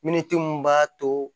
Miniti mun b'a to